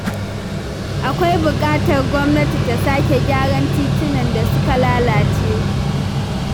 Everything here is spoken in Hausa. Akwai buƙatar gwamnati ta sake gyaran titunan da suka lalace.